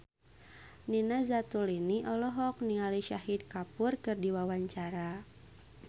Nina Zatulini olohok ningali Shahid Kapoor keur diwawancara